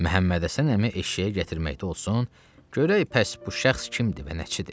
Məhəmməd Həsən əmi eşşəyi gətirməkdə olsun, görək pəs bu şəxs kimdir və nəçidir.